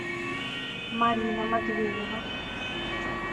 марина матвеева